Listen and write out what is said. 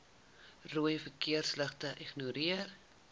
rooi verkeersligte ignoreer